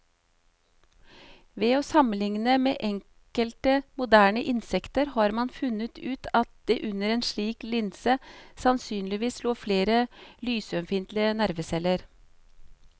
Ved å sammenligne med enkelte moderne insekter har man funnet ut at det under en slik linse sannsynligvis lå flere lysømfintlige nerveceller.